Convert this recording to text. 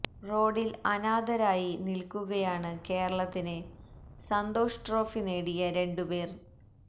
റോഡില് അനാഥരായി നില്ക്കുകയാണ് കേരളത്തിന് സന്തോഷ് ട്രോഫി നേടിയ രണ്ടു പേര്